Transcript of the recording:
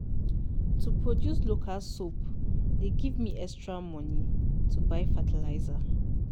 to produce local soap dey give me extra money to buy fertiliser.